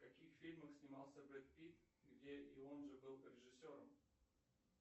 в каких фильмах снимался брэд питт где и он же был режиссером